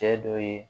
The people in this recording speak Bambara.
Cɛ dɔ ye